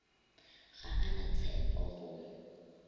ga a na tshepo go